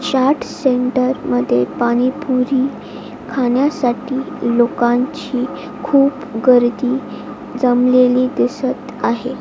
Chaat centre मध्ये पाणीपुरी खाण्यासाठी लोकांची खूप गर्दी जमलेली दिसत आहे.